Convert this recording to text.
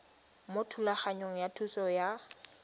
mo thulaganyong ya thuso y